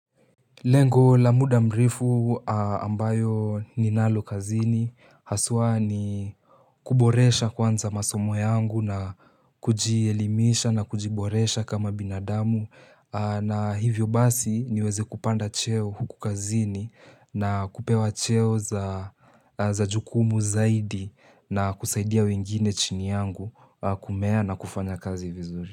Lengo la muda mrefu ambayo ninalo kazini haswa ni kuboresha kwanza masomo yangu na kujielimisha na kujiboresha kama binadamu na hivyo basi niweze kupanda cheo huku kazini na kupewa cheo za jukumu zaidi na kusaidia wengine chini yangu kumea na kufanya kazi vizuri.